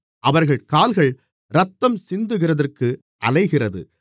அவர்கள் கால்கள் இரத்தம் சிந்துகிறதற்கு அலைகிறது